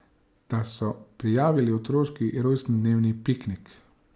Da so prijavili otroški rojstnodnevni piknik.